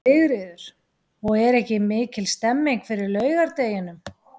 Sigríður: Og er mikil stemning fyrir laugardeginum?